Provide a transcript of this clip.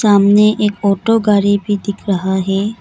सामने एक ऑटो गाड़ी भी दिख रहा है।